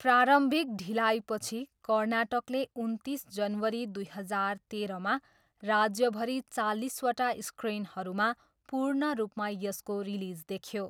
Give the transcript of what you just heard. प्रारम्भिक ढिलाइपछि, कर्नाटकले उन्तिस जनवरी दुई हजार तेह्रमा राज्यभरि चालिसवटा स्क्रिनहरूमा पूर्ण रूपमा यसको रिलिज देख्यो।